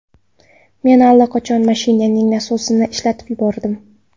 Men allaqachon mashinaning nasosini ishlatib yuborgandim.